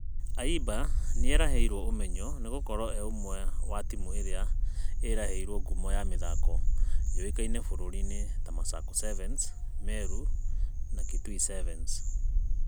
Ayimba nĩaraheirwo ũmenyo nĩgũkorwo e ũmwe wa timũ ĩrĩa ĩraheire ngumo mĩthako yũwikainĩ bũrũri-inĩ ta masaku 7s, meru na kitui 7s